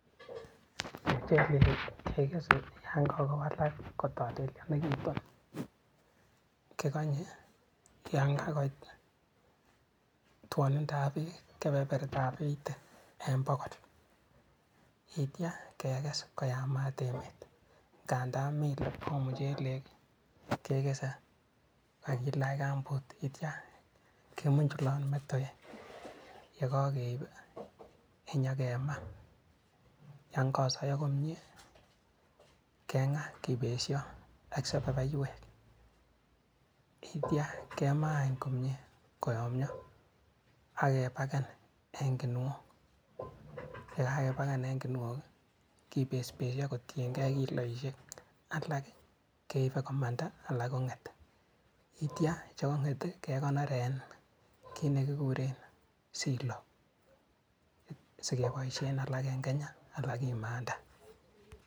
Mochelek kekese yan kakowalak kotolelyonekitu kikonye yan kakoit twonindab beek kebertab Eigty en bogol yeityo kekes koyamat emet, ngandan mii yetwon muchelek kekes kakilach gumboot yeitia kemunjulot motowek, yekokeip inyokemaa yon kosoyo komie keng'aa kibesio ak sepepeywek, yeitia kemaa any komie koyomio akepaken en kinuok yekakepaken en kinuok kipespesio kotiengee kiloisiek alak keipe komanda alak kong'et yeitia chekong'et kekonor en kit nekikuren Silo sikeboisien alak en Kenya alak kimanda.